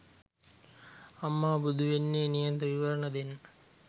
අම්මාට බුදු වෙන්න නියත විවරන දෙන්නෙ